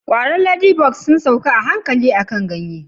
kwaron ladybugs sun sauka a hankali akan ganye